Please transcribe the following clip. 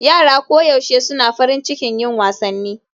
Yara koyaushe suna farin cikin yin wasanni